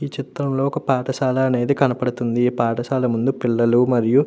ఈ చిత్రం లో ఒక పాఠశాల అనేది కనబడుతుంది. పాఠశాల ముందు పిల్లలు మరియు --